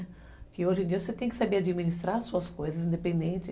Porque hoje em dia você tem que saber administrar as suas coisas independente.